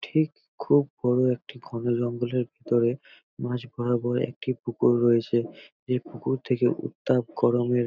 ঠিক খুব বড় একটি ঘনজঙ্গলের ভেতরে মাঝ বরাবর একটি পুকুর রয়েছে। এই পুকুর থেকে উত্তাপ গরমের --